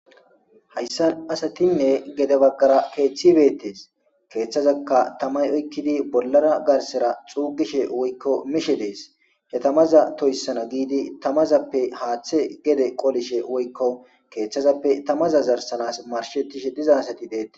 hayssan asatinne gede baggara keeththi beettees keeththazaka tamay oykkidi bollara garsera xuugishe woykko mishe dees he tamaza toyssana giidi tamazappe haaththe gede qolishe woykko keeththazappe tamaza zarsanas marshetishe diza asati deete